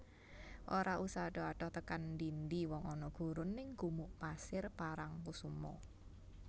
Ora usah adoh adoh tekan ndi ndi wong ana gurun ning Gumuk Pasir Parangkusumo